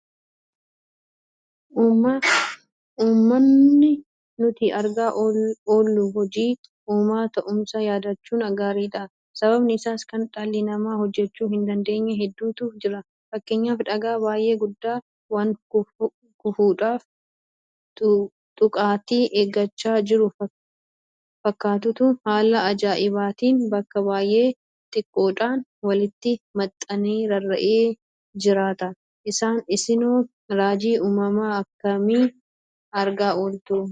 Uumamni nuti argaa oollu hojii uumaa ta'uusaa yaadachuun gaariidha. Sababni isaas kan dhalli namaa hojjechuu hindandeenye hedduutu jira. Fakkeenyaaf dhagaa baay'ee guddaa waankufuudhaaf xuqaatii eeggachaa jiru fakkaatutu haala ajaa'ibaatiin bakka baay'ee xiqqoodhaan walitti maxxanee rarra'ee jiraata. Isinoo raajii uumamaa akkamii argaa ooltu?